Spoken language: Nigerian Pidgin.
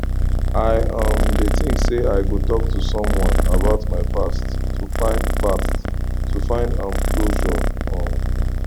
i um dey think say i go talk to someone about my past to find past to find um closure um